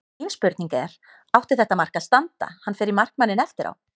Mín spurning er: Átti þetta mark að standa, hann fer í markmanninn eftir á?